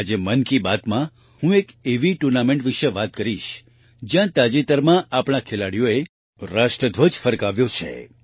આજે મન કી બાતમાં હું એક એવી ટૂર્નામેન્ટ વિશે વાત કરીશ જ્યાં તાજેતરમાં આપણા ખેલાડીઓએ રાષ્ટ્રધ્વજ ફરકાવ્યો છે